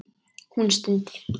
Hún stundi.